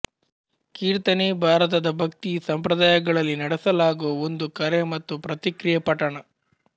ಕೀರ್ತನೆ ಭಾರತದ ಭಕ್ತಿ ಸಂಪ್ರದಾಯಗಳಲ್ಲಿ ನಡೆಸಲಾಗುವ ಒಂದು ಕರೆ ಮತ್ತು ಪ್ರತಿಕ್ರಿಯೆ ಪಠಣ